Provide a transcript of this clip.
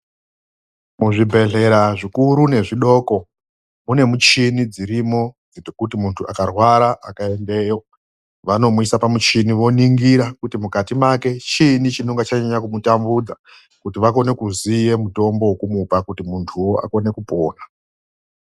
MUZVIBEHLERA ZVIKURU NEZVIDOKO MUNE MUCHINI DZIRIMO DZEKUTI MUNTU AKARWARA AKAENDEYO WANOMUISA PAMUCHINI VONINGIRA KUTI MUKATI MAKE CHIINI CHINONGA CHANYANYA KUMUTAMBUDZA KUTI VAKONE KUZIYE MUTOMBO WEKUMUPA KUTI MUNTUWO AKONE KUPORA.